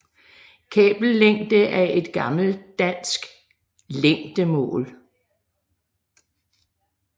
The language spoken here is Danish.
Kabellængde er et gammelt dansk længdemål